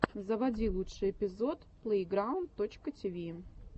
заводи лучший эпизод плэйграунд точка тиви